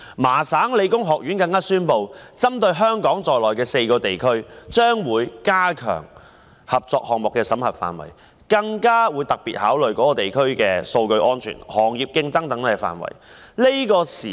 麻省理工學院宣布，將會針對香港在內的4個地區，加強合作項目的審核，更會特別考慮相關地區的數據安全、行業競爭等範圍。